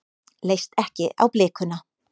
Leist ekki á blikuna.